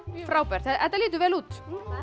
frábært þetta lítur vel út